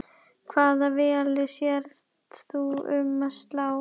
Hvaða velli sérð þú um að slá?